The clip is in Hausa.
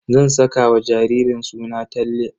Zan saka wa jaririn suna Talle.